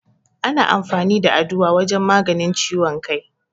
Ana amfani da Aduwa wajen maganin ciwon kai.